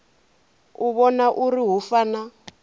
u vhona uri hu fana